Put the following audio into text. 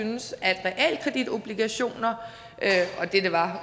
syntes at realkreditobligationer og det det var